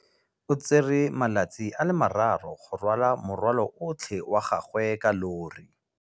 O tsere malatsi a le marraro go rwala morwalo otlhe wa gagwe ka llori.